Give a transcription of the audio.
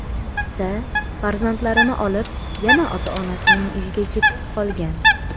S. farzandlarini olib yana ota-onasining uyiga ketib qolgan.